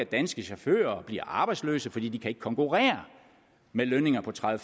danske chauffører i arbejdsløse fordi de ikke kan konkurrere med lønninger på tredive